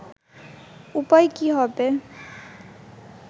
উপায় কী হবে